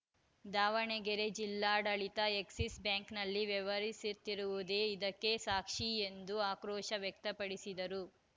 ದಾವಣಗೆರೆ ಜಿಲ್ಲಾಡಳಿತ ಎಕ್ಸಿಸ್‌ ಬ್ಯಾಂಕ್‌ನಲ್ಲಿ ವ್ಯವಹರಿಸುತ್ತಿರುವುದೇ ಇದಕ್ಕೆ ಸಾಕ್ಷಿ ಎಂದು ಆಕ್ರೋಶ ವ್ಯಕ್ತಪಡಿಸಿದರು